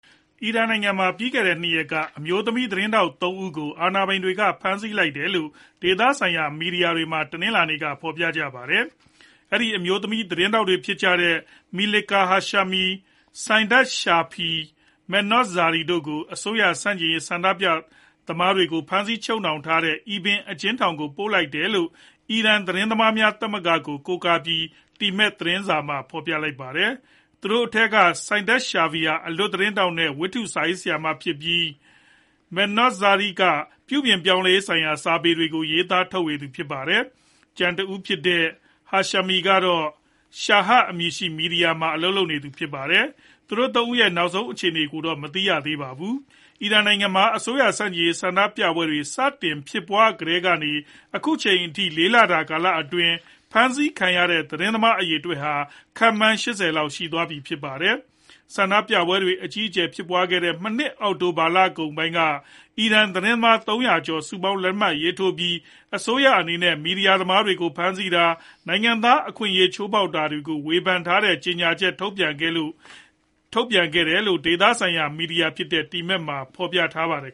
အီရန်နိုင်ငံမှာ ပြီးခဲ့တဲ့ ၂ ရက်က အမျိုးသမီးသတင်းထောက် ၃ ဦးကို အာဏာပိုင်တွေက ဖမ်းဆီးလိုက်တယ်လို့ ဒေသဆိုင်ရာမီဒီယာမှာ တနင်္လာနေ့က ဖော်ပြလိုက်ပါတယ်။ အဲဒီ အမျိုးသမီးသတင်းထောက်တွေ ဖြစ်ကြတဲ့ Melika Hashemi ၊ Saideh Shafiei နဲ့ Mehrnoush Zarei တို့ကို အစိုးရဆန့်ကျင်ရေး ဆန္ဒပြသမားတွေကို ဖမ်းဆီးချုပ်နှောင်ထားတဲ့ Evin အကျဉ်းထောင်ကိုပို့လိုက်တယ်လို့ အီရန်သတင်းသမားများ သမဂ္ဂကိုကိုးကားပြီး temad သတင်းစာမှာ ဖော်ပြလိုက်တာပါ။ သူတို့ထဲက Saideh Shafiei ဟာ အလွတ်သတင်းထောက်နဲ့ ဝတ္ထုစာရေးဆရာမဖြစ်ပြီး Mehrnoush Zarei က ပြုပြင်ပြောင်းလဲရေးဆိုင်ရာစာပေတွေကို ရေးသားထုတ်ဝေသူဖြစ်ပါတယ်။ ကျန်တဦးဖြစ်တဲ့ Hashemi ကတော့ Shahr အမည်ရှိတဲ့ မီဒီယာမှာ အလုပ်လုပ်နေသူဖြစ်ပါတယ်။ သူတို့ ၃ ဦးရဲ့နောက်ဆုံး အခြေအနေကိုတော့ မသိရှိရသေးပါဘူး။ အီရန်နိုင်ငံမှာ အစိုးရဆန့်ကျင်ရေးဆန္ဒပြပွဲတွေ စတင်ဖြစ်ပွားကတည်ကနေ အခုအချိန်အထိ ၄ လအတွင်းမှာ ဖမ်းဆီးခံရတဲ့ သတင်းသမားအရေအတွက်ဟာ ခန့်မှန်း ၈ဝ လောက်ရှိပြီ ဖြစ်ပါတယ်။ ဆန္ဒပြပွဲတွေ အကြီးအကျယ်ဖြစ်ပွားခဲ့တဲ့ မနှစ်အောက်တိုဘာကုန်ပိုင်းက အီရန်သတင်းသမား ၃ဝဝ ကျော် စုပေါင်းလက်မှတ်ရေးထိုးပြီး အစိုးရအနေနဲ့ မီဒီယာသမားတွေကို ဖမ်းဆီးတာ ၊ နိုင်ငံသားအခွင့်အရေးချိုးဖောက်တာတွေကို ဝေဖန်ထားတဲ့ ကြေညာချက်ထုတ်ပြန်ခဲ့တယ်လို့ ဒေသဆိုင်ရာမီဒီယာဖြစ်တဲ့ Temad မှာ ဖော်ပြထားပါတယ်